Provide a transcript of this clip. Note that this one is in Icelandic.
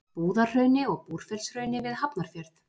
Búðahrauni og Búrfellshrauni við Hafnarfjörð.